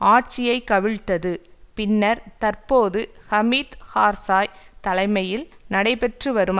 ஆட்சியை கவிழ்த்தது பின்னர் தற்போது ஹமீத் கார்சாய் தலைமையில் நடைபெற்று வரும்